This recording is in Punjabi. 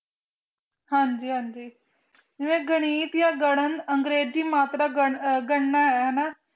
ਹਾਜੀ ਹਾਂਜੀ ਜਿਵੇਂ ਗਾਨਿ ਦੀ ਗਗਨ ਅੰਗ੍ਰੀਜੀ ਮਾਤਰਾ ਗਣਨਾ ਹੈਨਾ